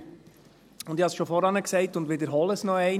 Ich habe es bereits vorhin gesagt und wiederhole es noch einmal: